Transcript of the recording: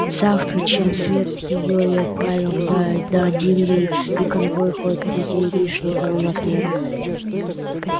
завтра чем свет её и отправим да дадим ей и конвой хоть людей лишних и у нас нет